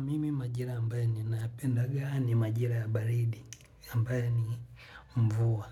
Mimi majira ambaye ni naapenda gani majira ya baridi ambaye ni mvua.